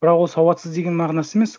бірақ ол сауатсыз деген мағынасы емес